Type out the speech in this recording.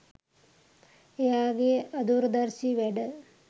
එයාගේ අදූරදර්ශී වැඩ